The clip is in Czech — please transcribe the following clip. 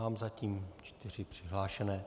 Mám zatím čtyři přihlášené.